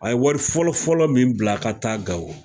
An ye wari fɔlɔfɔlɔ min bila ka taa gawo